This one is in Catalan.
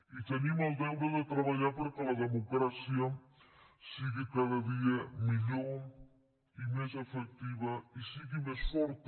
i tenim el deure de treballar perquè la democràcia sigui cada dia millor i més efectiva i sigui més forta